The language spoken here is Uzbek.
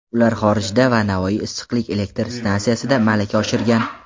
Ular xorijda va Navoiy issiqlik elektr stansiyasida malaka oshirgan.